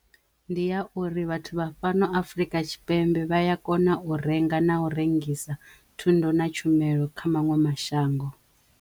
Ndi ya uri vhathu vha fhano Afurika Tshipembe vha ya kona u renga na u rengisa thundu na tshumelo kha maṅwe mashango.